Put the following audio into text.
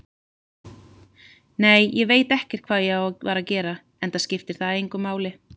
Nei, ég veit ekkert hvað ég var að gera, enda skiptir það engu máli.